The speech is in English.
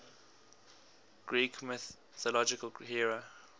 greek mythological hero